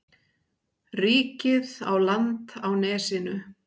Ríkið á land á nesinu.